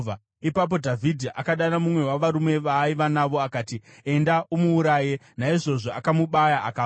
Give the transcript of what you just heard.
Ipapo Dhavhidhi akadana mumwe wavarume vaaiva navo akati, “Enda, umuuraye!” Naizvozvo akamubaya, akafa.